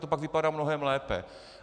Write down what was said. To pak vypadá mnohem lépe.